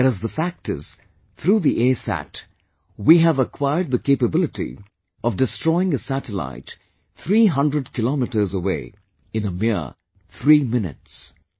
Whereas the fact is, through the ASat, we have acquired the capability of destroying a satellite three hundred Kilometres away in a mere three minutes